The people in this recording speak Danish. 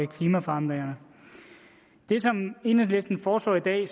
klimaforandringerne det som enhedslisten foreslår i dag